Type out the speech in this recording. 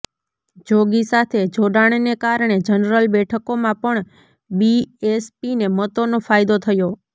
જોગી સાથે જોડાણને કારણે જનરલ બેઠકોમાં પણ બીએસપીને મતોનો ફાયદો થયો